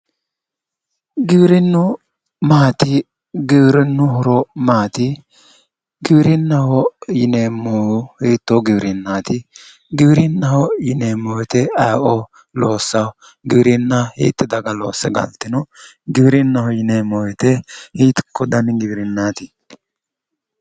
Giwirinnu maati Giwirinnu horo maati giwirinnaho yineemohu hitoo giwirinaati giwirinnaho yineemo woyite ayeoo loosannoho? giwirinna hiitti daga loosse galitino? Giwirinahho yineemo woyite hiikko dani giwirinaati?